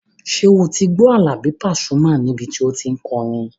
Ṣé o ti gbọ́ Àlàbí Pasuma níbi tí o tí n kọrin?